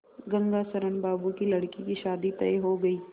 गंगाशरण बाबू की लड़की की शादी तय हो गई